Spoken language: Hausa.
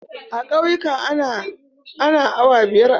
A ƙauyika ana awa biyar a gona.